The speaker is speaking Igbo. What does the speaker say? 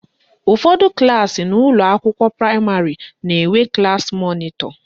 Ụfọdụ klaasị n'ụlọakwụkwọ praịmarị na-enwe klassi mọnịtọ